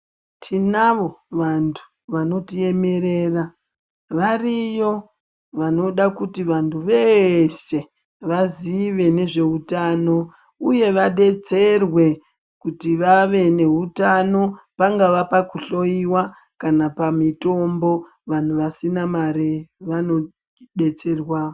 Tinavo vantu vanotiemerera, variyo vanoda kuti vantu veshe vazive nezveutano uye vadetserwe kuti vave neutano, pangava pakuhloyiwa kana pamitombo vanhu vasina mare vanodetserwa.